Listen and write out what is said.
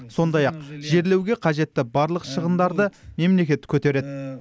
сондай ақ жерлеуге қажетті барлық шығындарды мемлекет көтереді